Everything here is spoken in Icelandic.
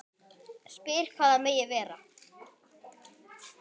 Spyr hvað það megi vera.